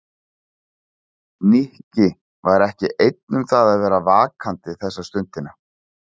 Nikki var ekki einn um það að vera vakandi þessa stundina.